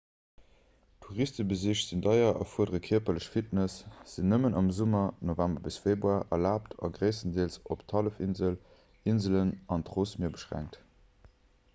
touristebesich sinn deier erfuerdere kierperlech fitness sinn nëmmen am summer november bis februar erlaabt a gréisstendeels op d'hallefinsel inselen an d'rossmier beschränkt